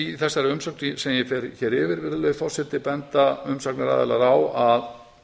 í þessari umsögn sem ég fer hér yfir benda umsagnaraðilar á að